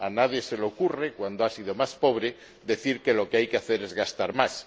A nadie se le ocurre, cuando ha sido más pobre, decir que lo que hay que hacer es gastar más.